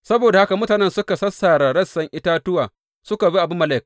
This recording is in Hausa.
Saboda haka mutanen suka sassare rassan itatuwa suka bi Abimelek.